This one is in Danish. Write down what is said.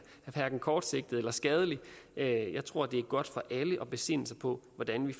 kortsigtet eller skadelig jeg tror det er godt for alle at besinde sig på hvordan vi